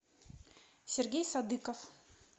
сергей садыков